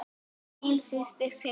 Þín systir Sigrún.